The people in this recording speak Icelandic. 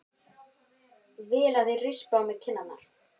Vil að þeir rispi á mér kinnarnar.